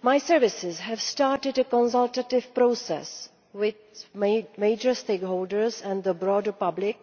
My staff have started a consultative process with major stakeholders and the broader public,